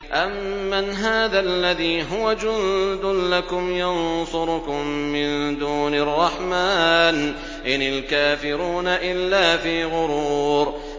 أَمَّنْ هَٰذَا الَّذِي هُوَ جُندٌ لَّكُمْ يَنصُرُكُم مِّن دُونِ الرَّحْمَٰنِ ۚ إِنِ الْكَافِرُونَ إِلَّا فِي غُرُورٍ